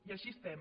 i així estem